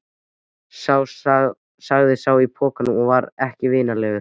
sagði sá í pokanum og var ekki vinalegur.